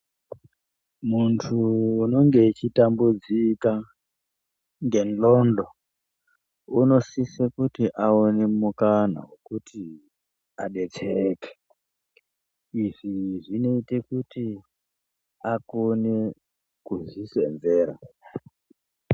Munthu unonge echitambudzika ngendxodo unosise kuti aone mukana wekuti adetsereke izvi zvinoite kuti akone kuzvisenzera.